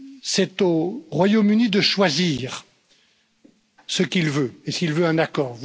C'est au Royaume Uni de choisir ce qu'il veut et s'il veut un accord.